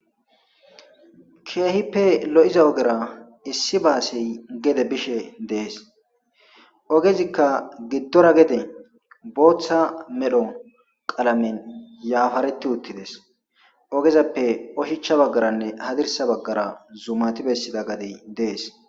Keehippe lo7iza ogera issi baasey gede bishe dees ,ogezika giddora booththa medho qalamen yafaretti uttides ogezappe oshichcha baggaranne hadirssa baggara zumati ekkida gadey dees.